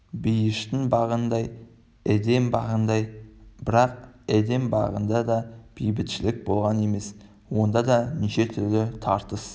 бейіштің бағындай эдем бағындай бірақ эдем бағында да бейбітшілік болған емес онда да неше түрлі тартыс